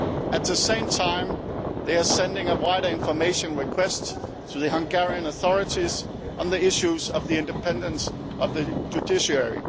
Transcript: At the same time, it is sending a wider information request to the Hungarian authorities on the issue of the independence of the judiciary.